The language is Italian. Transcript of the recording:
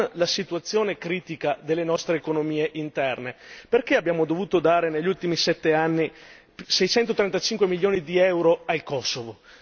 Ma con la situazione critica delle nostre economie interne, perché abbiamo dovuto dare negli ultimi sette anni seicentotrentacinque milioni di euro al Kosovo?